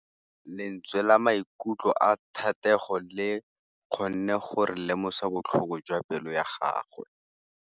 Lentswe la maikutlo a Thategô le kgonne gore re lemosa botlhoko jwa pelô ya gagwe.